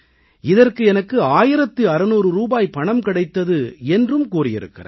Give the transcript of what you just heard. இதற்கு எனக்கு 1600 ரூபாய் பணம் கிடைத்தது என்றும் கூறியிருக்கிறார்